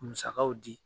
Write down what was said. Musakaw di